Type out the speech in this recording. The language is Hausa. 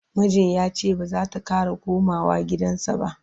mijin yace bazata Kara komawa gidansa ba